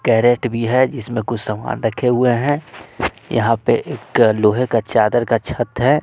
Carat भी है इसमें कुछ सामान रखे हुए हैं यहां पे एक लोहे का चादर का छत है।